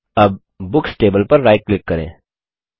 अब books table पर right click करें